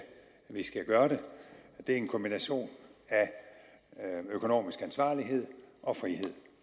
vi skal gøre det det er en kombination af økonomisk ansvarlighed og frihed